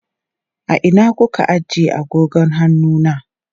A ina kuka ajiye agogon hannu na?